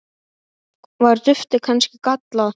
Var duftið kannski gallað?